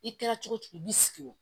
I kɛra cogo o cogo i b'i sigi o